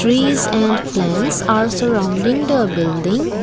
trees and plants are surrounding the building.